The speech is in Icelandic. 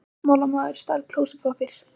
Stjórnmálamaður stal klósettpappír